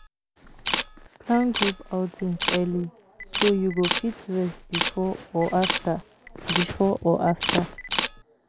Plan group outings early, so you go fit rest before or after. before or after.